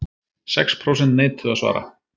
Sex prósent neituðu að svara